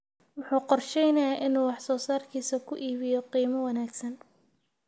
Wuxuu qorsheynayaa inuu wax soo saarkiisa ku iibiyo qiimo wanaagsan.